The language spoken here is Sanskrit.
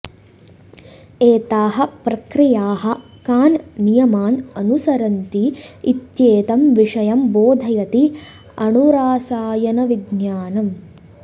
एताः प्रतिक्रियाः कान् नियमान् अनुसरन्ति इत्येतं विषयं बोधयति अणुरासायनविज्ञानम्